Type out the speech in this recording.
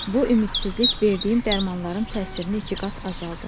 Bu ümidsizlik verdiyim dərmanların təsirini ikiqat azaldır.